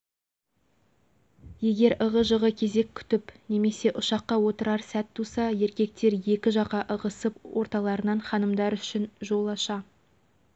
әдемі жымиып алғыстарын қабақтарынан таныта кербез басқан ханымдарға ілтипатпен қарамасқа лажың жоқ